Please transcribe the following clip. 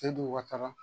E dun ka taga